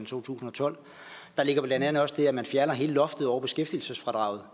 to tusind og tolv der ligger blandt andet også det at man fjerner hele loftet over beskæftigelsesfradraget